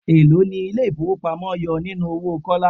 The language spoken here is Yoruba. Elo ni ilé ifowopamo yọ nínú owó Kọ́lá?